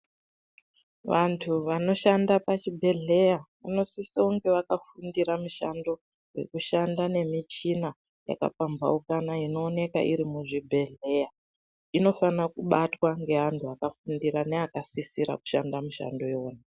Vantu vanoshanda pachibhedhleya vanosisa kunge vakafundira mushando vekushanda nemichina yakapambaukana inooneka iri muzvibhedhleya. Inofana kubatwa ngeantu akafundira neakasisira kushanda mushando iyona.